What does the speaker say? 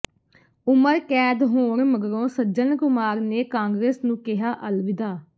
ਉਮਰ ਕੈਦ ਹੋਣ ਮਗਰੋਂ ਸੱਜਣ ਕੁਮਾਰ ਨੇ ਕਾਂਗਰਸ ਨੂੰ ਕਿਹਾ ਅਲਵਿਦਾ